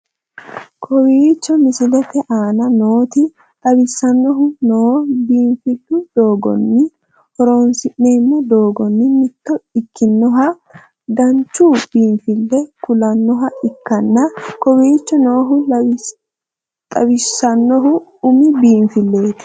kowichhoo misilette anna nooti xawisannohu noo biinflu doogonii horonsinemoo dogonni mitto ekinohaa dananchuu binfille kullanoha ekkana kowichho noohu xawissanohu ummu biinfleti.